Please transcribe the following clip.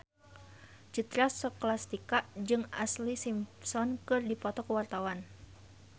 Citra Scholastika jeung Ashlee Simpson keur dipoto ku wartawan